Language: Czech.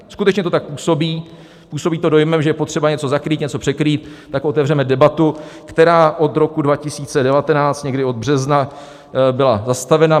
Skutečně to tak působí, působí to dojmem, že je potřeba něco zakrýt, něco překrýt, tak otevřeme debatu, která od roku 2019, někdy od března, byla zastavena.